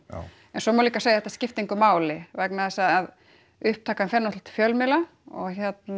en svo má líka segja að þetta skipti engu máli vegna þess að upptakan fer náttúrulega til fjölmiðla og